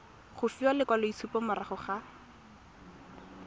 go fiwa lekwaloitshupo morago ga